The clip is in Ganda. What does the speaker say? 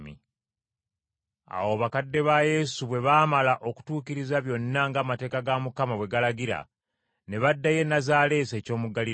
Awo bakadde ba Yesu bwe baamala okutuukiriza byonna ng’amateeka ga Mukama bwe galagira, ne baddayo e Nazaaleesi eky’omu Ggaliraaya.